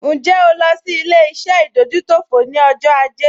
Ǹjẹ́ o lọ sí ilé-iṣẹ́ ìdójútòfò ní ọjọ́ ajé?